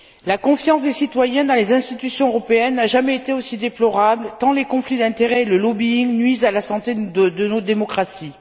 La confiance des citoyens dans les institutions européennes n'a jamais été aussi déplorable, tant les conflits d'intérêt et le lobbying nuisent à la santé de nos démocraties.